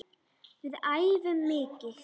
Við æfum mikið.